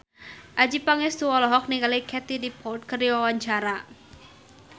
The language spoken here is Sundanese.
Adjie Pangestu olohok ningali Katie Dippold keur diwawancara